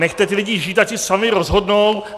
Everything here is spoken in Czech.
Nechcete ty lidi žít, ať si sami rozhodnou.